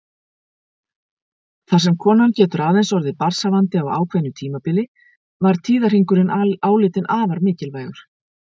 Þar sem konan getur aðeins orðið barnshafandi á ákveðnu tímabili var tíðahringurinn álitinn afar mikilvægur.